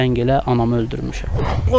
Zəng elə, anamı öldürmüşəm.